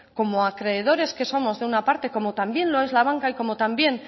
como acreedores que somos de una parte como también lo es la banca y como también